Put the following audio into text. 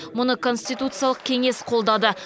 мұны конституциялық кеңес қолдады